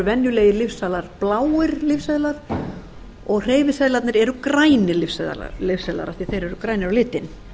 venjulegir lyfseðlar bláir lyfseðlar og hreyfiseðlarnir eru grænir lyfseðlar af því að þeir eru grænir